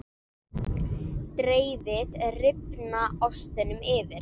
Dreifið rifna ostinum yfir.